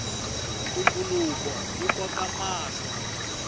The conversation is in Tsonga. ntumbuluko wu koka mahlo